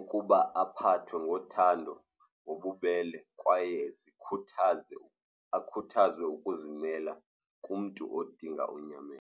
ukuba aphathwe ngothando, nobubele kwaye zikhuthaze, akhuthaze ukuzimela kumntu odinga unyameko.